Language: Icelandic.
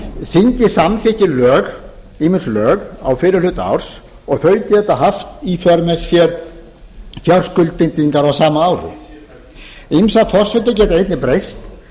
þingið samþykkir ýmis lög á fyrri hluta árs og þau geta haft í för með sér fjárskuldbindingar á sama ári ýmsar forsendur geta einnig breyst